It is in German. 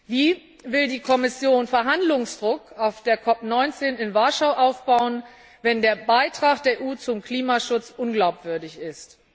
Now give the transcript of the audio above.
Wie will die Kommission Verhandlungsdruck auf der COP 19 in Warschau aufbauen, wenn der Beitrag der EU zum Klimaschutz unglaubwürdig ist?